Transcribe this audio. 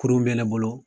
Kurun be ne bolo